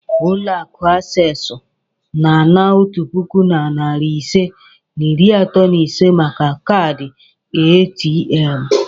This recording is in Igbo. Ulo aku accessu na-ana otu puku na narị ise na iri atọ na ise maka kaadị ATM.